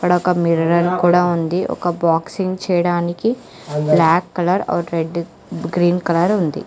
అక్కడొక మిర్రర్ కూడా ఉంది ఒక బాక్సింగ్ చేయడానికి black colour or red green colour ఉంది.